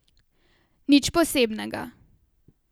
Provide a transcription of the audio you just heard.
Nič posebnega.